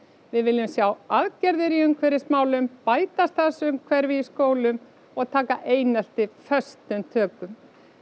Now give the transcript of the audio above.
við viljum sjá aðgerðir í umhverfismálum bæta starfsumhverfi í skólamálum og taka einelti föstum tökum